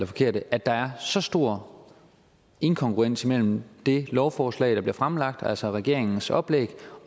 forkerte at der er så stor inkongruens mellem det lovforslag der fremsat altså regeringens oplæg